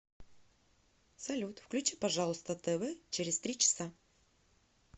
салют включи пожалуйста тв через три часа